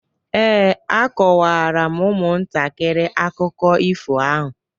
Ee, akọwara m ụmụntakịrị akụkọ ifo ahụ